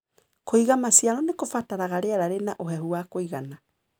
Kũiga maciaro nĩkũbataraga riera rĩna ũhehu wa kũigana.